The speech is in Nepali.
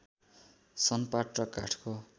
सनपाट र काठको